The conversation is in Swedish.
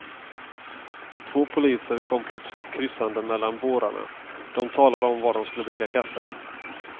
Två poliser kom plötsligt kryssande mellan bårarna, de talade om var de skulle dricka kaffe.